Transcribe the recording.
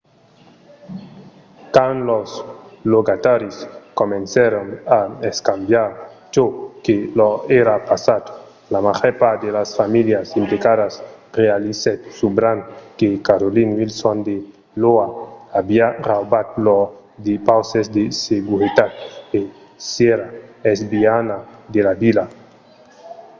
quand los logataris comencèron a escambiar çò que lor èra passat la màger part de las familhas implicadas realizèt subran que carolyn wilson de l’oha aviá raubat lors depauses de seguretat e s'èra esbinhada de la vila